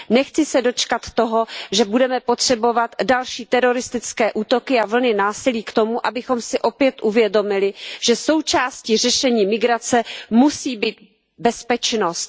Nechci se dočkat toho, že budeme potřebovat další teroristické útoky a vlny násilí k tomu, abychom si opět uvědomili, že součástí řešení migrace musí být bezpečnost.